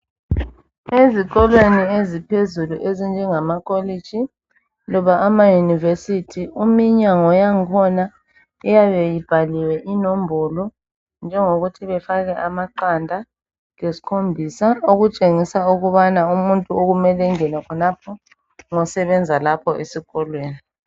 Ezikolweni eziphezulu ezinjengama kolitshi loba amayunivesithi iminyango yangkhona iyabe ibhaliwe inombolo njengokuthi befake amaqanda lesikhomisa okutshengisa ukubana umuntu okumele engena khonapha ngosebenza lapho esikolweni.